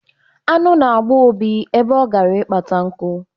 Añụ na-agba Obi ebe ọ gara ịkpata nku.